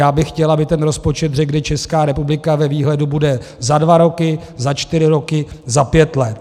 Já bych chtěl, aby ten rozpočet řekl, kde Česká republika ve výhledu bude za dva roky, za čtyři roky, za pět let.